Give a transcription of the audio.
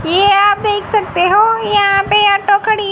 ये आप देख सकते हो यहां पे ओटो खड़ी--